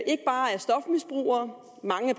ikke bare er stofmisbrugere mange